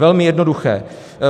Velmi jednoduché.